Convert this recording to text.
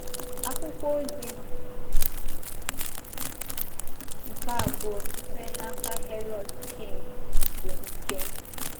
Akwụkwọ ozi nke abụọ sitere n'aka Harold King bụ nke m.